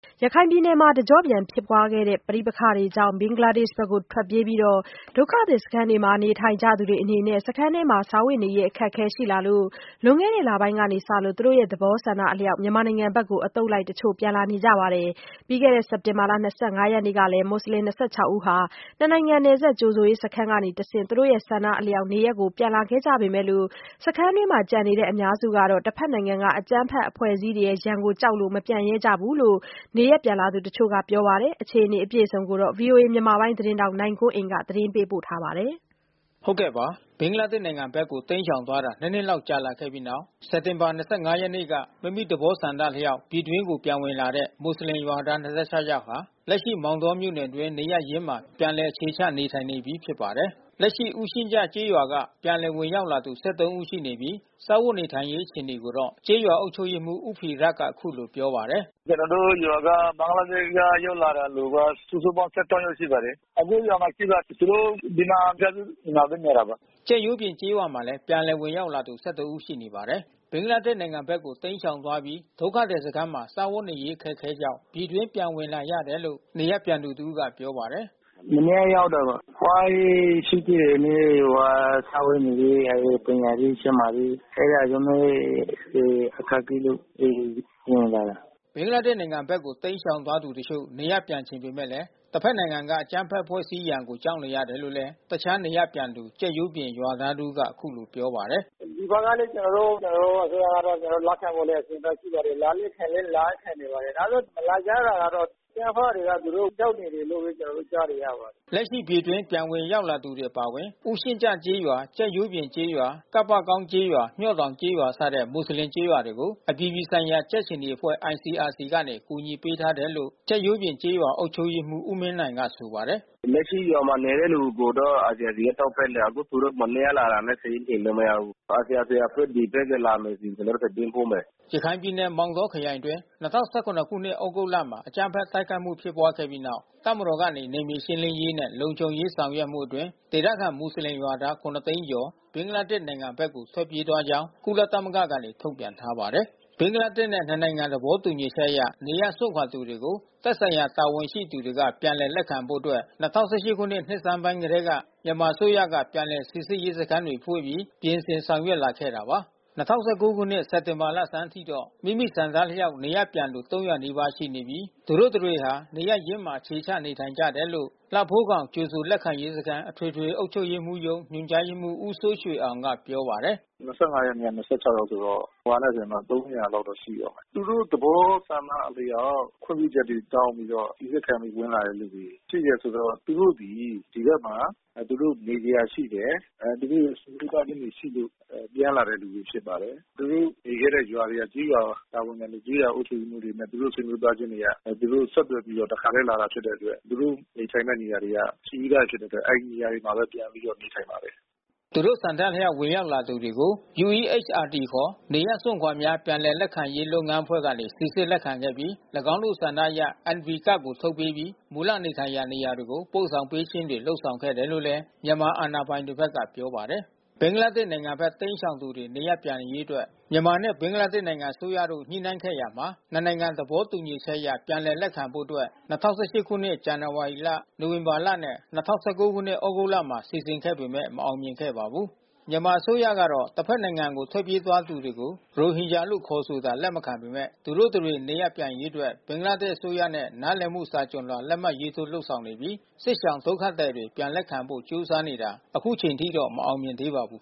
ရခိုင်ပြည်နယ်မှာ တကြော့ပြန်ဖြစ်ပွားခဲ့တဲ့ ပဋိပက္ခတွေကြောင့် ဘင်္ဂလားဒေ့ရှ်နိုင်ငံဘက်ကို ထွက်ပြေးပြီး ဒုက္ခသည် စခန်းတွေမှာ နေထိုင်နေကြသူတွေအနေနဲ့ စခန်းအတွင်းမှာ စားဝတ်နေရေး အခက်အခဲ ရှိလာတာကြောင့် လွန်ခဲ့တဲ့ လပိုင်းအတွင်းကစလို့ သူတို့ သဘောဆန္ဒအလျှောက် မြန်မာနိုင်ငံဘက်ကို အသုတ်လိုက် တချို့ ပြန်လာနေကြပါတယ်။ ပြီးခဲ့တဲ့ စက်တင်ဘာ ၂၅ ရက်နေ့ကလည်း မွတ်ဆလင် ၂၆ ဦးဟာ နှစ်နိုင်ငံနယ်စပ် ကြိုဆိုရေးစခန်းကတဆင့် သူတို့ ဆန္ဒအလျှောက် နေရပ်ကို ပြန်လာခဲ့ကြပေမယ့် စခန်းအတွင်းမှာ ကျန်နေတဲ့ အများစုကောတ့ တဘက်နိုင်ငံက အကြမ်းဖက် အဖွဲ့အစည်းတွေရဲ့ရန်ကိုကြောက်လို့ မပြန်ရဲကြဘူးလို့ နေရပ်ပြန်သူ တချို့ကပြောပါတယ်။ ဒီအခြေ အနေကို ဗွီအိုအေမြန်မာပိုင်း သတင်းထောက် နိုင်ကွန်းအိန်ကနေ သတင်းပေးပို့ထားပါတယ်။ ဘင်္ဂလားဒေ့ရှ်နိုင်ငံဘက်ကို တိမ်းရှောင်သွားတာ ၂ နှစ်လောက် ကြာလာပြီးတဲ့နောက် စက်တင်ဘာ ၂၅ ရက်နေ့က မိမိသဘောဆန္ဒ အလျှောက် ပြည်တွင်းကိုပြန်ဝင်လာတဲ့မွတ်ဆလင်ရွာသား ၂၆ ဟာ လက်ရှိ မောင်တောမြို့နယ်အတွင်း နေရပ်ရင်းမှာ ပြန်လည်အခြေချ နေထိုင်နေပြီး ဖြစ်ပါတယ်။ လက်ရှိ ဦးရှည့်ကျကျေးရွာက ပြန်လည်ဝင်ရောက်လာသူ၁၃ဦးရှိနေပြီး နေထိုင်စားသောက်ရေး အခြေအနေကိုတော့ ကျေးရွာအုပ်ချုပ်ရေးမှူး ဦးဖီရက်က အခုလိုပြောပါတယ်။ “ကျနော်တို့ရွာက ဘင်္ဂလားဒေ့ရှ် ရောက်လာတဲ့ သူက စုစုပေါင်း ၁၃ ယောက် ရှိပါတယ်။ အခုရွာမှာ ရှိပါတယ်။ သူတို့ ဒီမှာ မိသားစု အိမ်မှာပဲ နေတာပါ။” ကြက်ရိုးပြင်ကျေးရွာမှာလည်း ပြန်လည်ဝင်ရောက်လာသူ၁၁ဦး ရှိနေပါတယ်။ ဘင်္ဂလားဒေ့ရှ်နိုင်ငံဘက်ကို တိမ်းရှောင် သွားပြီး ဒုက္ခသည်စခန်းမှာ စားဝတ်နေထိုင်ရေး အခက်ခဲကြောင့် ပြည်တွင်းပြန်ဝင်လာတယ်လို့ နေရပ်ပြန်သူ တဦးက ပြောပါတယ်။ “မနေ့က ရောက်တာပါ။ သွားရေးရှုပ်ထွေးတယ်။ တနေ့ဟိုဟာ စားဝတ်နေရေး ပညာရေး၊ ကျန်းမာရေး အဲ့ဒါ လူမှုရေးတွေ အခက်ခဲလို့ အိမ်ကို ပြန်လာတာပါ။” ဘင်္ဂလားဒေ့ရှ်နိုင်ငံဘက်ကို တိမ်းရှောင်သွားသူ တချို့ နေရပ်ပြန်ချင်ပေမဲ့ တဘက်နိုင်ငံက အကြမ်းဖက် အဖွဲ့အစည်းရန်ကို ကြောက်နေရတယ်လို့ တခြား နေရပ်ပြန်သူ ကြက်ရိုးပြင်ရွာသား တဦးက အခုလို ပြောပါတယ်။ “ဒီဘက်ကတော့ ကျနော်တို့ အစိုးရကလည်း ကျနော်တို့ လက်ခံဖို့ကလည်း အဆင်သင့်ရှိပါတယ်။ လာလိုချင်လည်း လာရခက်နေပါတယ်။ ဒါပေမဲ့ မလာကြတာကတော့ အကြမ်းဖက်တွေက သူတို့ကြောက်နေတယ်လို့ပဲ ကျနော်တို့ ကြားနေရပါတယ်။” လက်ရှိ ပြည်တွင်းပြန်ဝင်ရောက်လာသူတွေ အပါအဝင် ဦးရှည့်ကျကျေးရွာ၊ ကြက်ရိုးပြင်ကျေးရွာ၊ ကပ္ပကောင်းကျေးရွာ၊ မျှော့တောင် ကျေးရွာစတဲ့ မွတ်ဆလင်ကျေးရွာတွေကို အပြည်ပြည်ဆိုင်ရာကြက်ခြေနီအဖွဲ့ ICRC ကနေ ကူညီမှုပေး ထားတယ်လို့ ကြက်ရိုး ပြင်ကျေးရွာ အုပ်ချုပ်ရေးမှူး ဦးမင်းနိုင်က ဆိုပါတယ်။ “လက်ရှိရွာမှာနေတဲ့သူကိုတော့ ICRC က ထောက်ပံ့နေတာ။ အခု သူတို့မနေ့ကလာတာနဲ့ စာရင်းတင်လို့ မရဘူး။ ICRC အဖွဲ့ဒီဘက် ကိုလာမယ်ဆိုရင် ကျနော်တို့သတင်းပို့မယ်။” ရခိုင်ပြည်နယ် မောင်တောခရိုင်အတွင်း၂၀၁၇ ခုနှစ် သြဂုတ်လမှာ အကြမ်းဖက် တိုက်ခိုက်မှု ဖြစ်ပွားခဲ့ပြီးနောက် တပ်မတော်ကနေ နယ်မြေရှင်းလင်းရေးနဲ့ လုံခြုံရေးလုပ်ဆောင်မှုအတွင်း ဒေသခံမူဆလင်ရွာသား ၇ သိန်းကျော် ဘင်္ဂလားဒေ့ရှ် နိုငံဘက်ကို ထွက်ပြေးသွားကြောင်း ကုလသမဂ္ဂက ထုတ်ပြန်ထားပါတယ်။ ဘင်္ဂလားဒေ့ရှ်နဲ့ နှစ်နိုင်ငံ သဘောတူညီချက်အရ နေရပ်စွန့်ခွာသူတွေကို သက်ဆိုင်ရာ တာဝန်ရှိသူတွေက ပြန်လည် လက်ခံဖို့အတွက် ၂၀၁၈ ခုနှစ် နှစ်စပိုင်းကတည်းက မြန်မာအစိုးရဘက်က ပြန်လည် လက်ခံရေးစခန်းတွေဖွင့်ပြီး ပြင်ဆင်ဆောင်ရွက်လာခဲ့တာပါ။ ၂၀၁၉ ခုနှစ် စက်တင်ဘာ လဆန်းပိုင်းထိတော့ မိမိဆန္ဒအလျှောက် နေရပ်ပြန်လာသူ၃၀၀ နီးပါးရှိနေပြီး သူတို့ တတွေဟာ မိမိနေရပ်ရင်းမှာ အခြေချနေထိုင်နေကြတယ်လို့ လှဖိုးခေါင် ကြိုဆိုလက်ခံရေးစခန်း အထွေထွေ အုပ်ချုပ်ရေးမှူးရုံး ညွှန်ကြားရေးမှုး ဦးစိုးရွှေအောင်က ပြောပါတယ်။ “၂၅ ရက်နေ့က ၂၆ ယောက်ဆိုတော့ ဟိုဟာနဲ့ဆို ၃၀၀ လောက် ရှိမယ်။ သူတို့ သဘောဆန္ဒအလျှောက် ခွင့်ပြုချက်တွေ တောင်းပြီးတော့ စီစစ်ခံပြီးဝင်လာတဲ့ လူတွေ ရှိတယ်ဆိုတော့ သူတို့ဒီဘက်မှာ နေစရာ ရှိတယ်။ သူတို့ဆွေမျိုးသားချင်းတွေ ရှိလို့ ပြန်လာတဲ့ လူတွေဖြစ်ပါတယ်။ သူတို့နေခဲ့တဲ့ရွာက ကျေးရွာတာဝန်ခံတွေ ကျေးရွာအုပ်ချုပ်ရေးမှူးတွေ သူတို့ဆွေမျိုးသားချင်းတွေက သူတို့ဆက်သွယ်ပြီး တခါထဲ လာတာဖြစ်တဲ့အတွက် သူတို့နေထိုင်မဲ့နေရာတွေက ရှိပြီး သားဖြစ်တဲ့အတွက် အဲဒီနေရာမှာပဲ ပြန်ပြီးတော့ နေထိုင်ပါတယ်။" သူတို့ ဆန္ဒအလျှောက် ဝင်ရောက်လာသူတွေကို UEHRD ခေါ် နေရပ်စွန့်ခွါများ ပြန်လည်လက်ခံရေး လုပ်ငန်းအဖွဲ့ကနေ စီစစ်လက်ခံခဲ့ပြီး ၎င်းတို့ဆန္ဒအရ NV Card ထုတ်ပေးခြင်း၊ မူလနေထိုင်ရာ နေရာတွေကို ပို့ဆောင်ပေးခြင်းတွေ လုပ်ဆောင်ခဲ့တယ်လို့ မြန်မာအာဏာပိုင်တွေဘက်က ပြောပါတယ်။ ဘင်္ဂလားဒေ့ရှ် နိုင်ငံဘက် တိမ်းရှောင်သူတွေ နေရပ်ပြန်ရေးအတွက် မြန်မာနဲ့ ဘင်္ဂလားဒေ့ရှ် နိုင်ငံ အစိုးရတို့ ညှိနှှိုင်းခဲ့ရာမှာ နှစ်နိုင်ငံသဘောတူညီချက်အရ ပြန်လည်လက်ခံဖို့အတွက်၂၀၁၈ ခုနှစ် ဇန်နဝါရီလ၊ နိုဝင်ဘာလနဲ့ ၂၀၁၉ ခုနှစ် သြဂုတ်လတို့မှာ စီစဉ်ခဲ့ပေမဲ့ အောင်မြင်မှု မရှိခဲ့ပါဘူး။ မြန်မာအစိုးရကတော့ တဘက်နိုင်ငံကို ထွက်ပြေးသွားသူတွေကို ရိုဟင်ဂျာလို့ ခေါ်ဆိုတာ လက်မခံပေမဲ့ သူတို့ တတွေ ပြန်လာနိုင်ရေးအတွက် ဘင်္ဂလားဒေ့ရှ် အစိုးရနဲ့ နားလည်မှု စာချွန်လွှာ လက်မှတ်ထိုးလုပ် ဆောင်နေပြီး စစ်ရှောင်ဒုက္ခသည်တွေ ပြန်လက်ခံဖို့ ကြိုးစားနေတာ အခုထိ မအောင်မြင်သေးပါဘူး